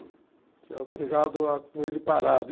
Você é obrigado a com ele parado.